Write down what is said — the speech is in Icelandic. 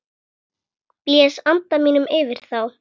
Blæs anda mínum yfir þá.